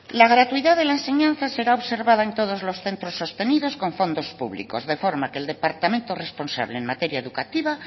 la gratuidad de la enseñanza será observada en todos los centros sostenidos con fondos públicos de forma que el departamento responsable en materia educativa